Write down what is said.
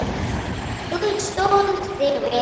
Þú stóðst þig vel.